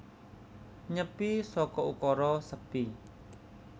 Nyepi saka ukara sepi